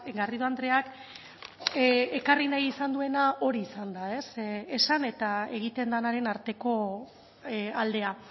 garrido andreak ekarri nahi izan duena hori izan da esan eta egiten denaren arteko aldea